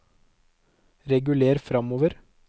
reguler framover